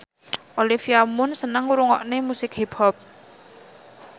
Olivia Munn seneng ngrungokne musik hip hop